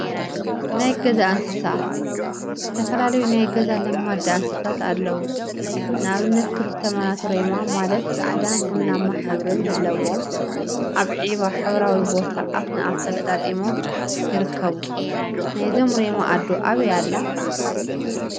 ናይ ገዛ እንስሳት ዝተፈላለዩ ናይ ገዛ ለማዳ እንስሳት አለው፡፡ ንአብነት ክልተ መናቱ ሬማ ማለት ፃዕዳን ቡናማን ሕብሪ ዘለዎም አብ ዒባ ሕብራዊ ቢታ አፍ ንአፍ ተጋጢሞም ይርከቡ፡፡ ናይዞም ሬማ አዶ አበይ አላ?